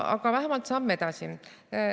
Aga vähemalt on see samm edasi.